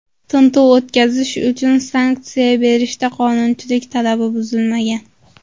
Tintuv o‘tkazish uchun sanksiya berishda qonunchilik talabi buzilmagan.